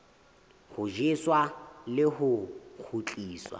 ho tjheswa le ho kgutliswa